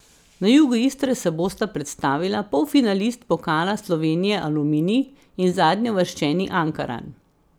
Na jugu Istre se bosta predstavila polfinalist pokala Slovenije Aluminij in zadnjeuvrščeni Ankaran.